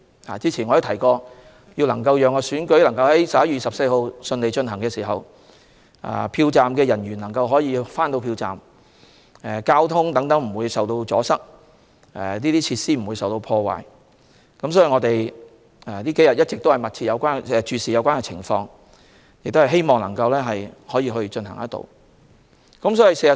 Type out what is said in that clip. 我早前提過，要讓選舉如期在11月24日順利舉行，票站人員需要準時抵達票站，交通也要不受阻塞，設施不被破壞，因此，這數天我們一直密切注視有關情況，希望可以如期舉行選舉。